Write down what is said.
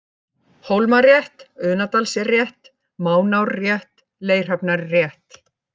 Hólmarétt, Unadalsrétt, Mánárrétt, Leirhafnarrétt